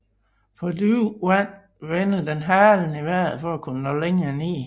På dybere vand vender den halen i vejret for at kunne nå længere ned